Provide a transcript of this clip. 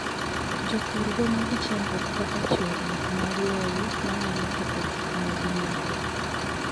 Jopur romo gi chandruoge kaka chwerruok mar lowo, manyalo ketho gik ma ginyago.